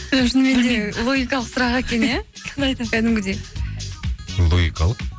шынымен де логикалық сұрақ екен иә кәдімгідей логикалық